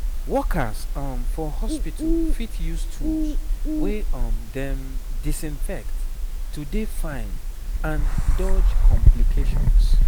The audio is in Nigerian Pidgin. workers um for hospitu fit use tools wey um dem disinfect to dey fine and dodge complications